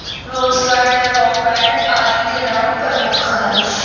Rose Garden, Rock Garden ਆਦਿ ਦੇ ਨਾਮ ਪ੍ਰਮੁੱਖ ਹਨ।